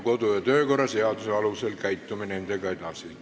Kodu- ja töökorra seaduse alusel käitume nendega edasi.